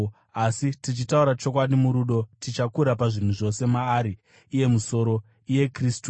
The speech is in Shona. Asi, tichitaura chokwadi murudo, tichakura pazvinhu zvose maari iye musoro, iye Kristu.